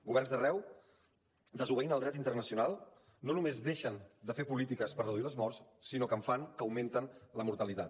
governs d’arreu desobeint el dret internacional no només deixen de fer polítiques per reduir les morts sinó que en fan que augmenten la mortalitat